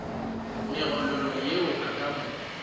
megololo yeo e ka mo